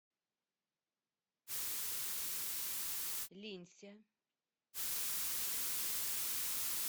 линься